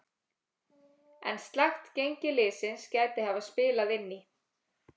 En slakt gengi liðsins gæti hafa spilað inn í.